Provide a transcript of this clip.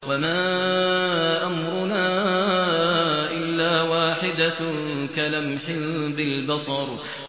وَمَا أَمْرُنَا إِلَّا وَاحِدَةٌ كَلَمْحٍ بِالْبَصَرِ